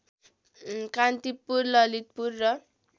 कान्तिपुर ललितपुर र